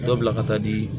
Dɔ bila ka taa di